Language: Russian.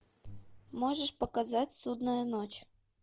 можешь показать судную ночь